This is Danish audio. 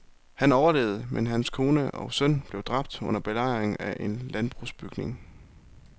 Han overlevede, men hans kone og søn blev dræbt under belejringen af en landbrugsbygning.